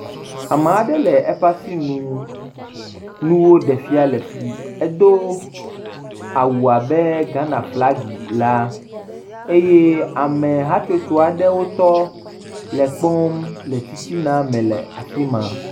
Ame aɖe le eƒe asinu nuwo ɖe fian le fi, edo awu abe Ghana flagi la eye ame hatsotso aɖe wotɔ le ekpɔm le titina me le afi ma.